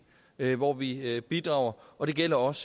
hvor vi bidrager og det gælder også